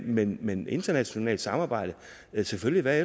men men internationalt samarbejde selvfølgelig hvad